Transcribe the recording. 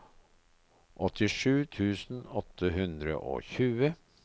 åttisju tusen åtte hundre og tjue